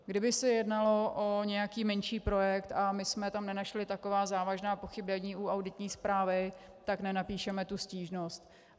Kdyby se jednalo o nějaký menší projekt a my jsme tam nenašli taková závažná pochybení u auditní zprávy, tak nenapíšeme tu stížnost.